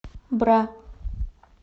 бра